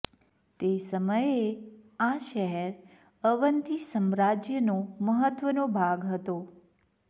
તે સમયે આ શહેર અવંતી સામ્રાજ્યનો મહત્વનો ભાગ હતો